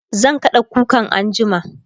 zan kada kukan anjima